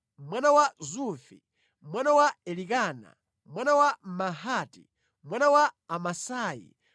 mwana wa Zufi, mwana wa Elikana, mwana wa Mahati, mwana wa Amasai,